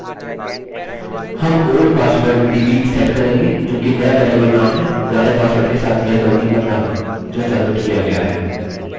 हम old password db set करेंगे जो कि नया बेरिएबल नाम है पुराने पासवर्ड के साथ यह गलती मत करना जो सब्मिट किया गया है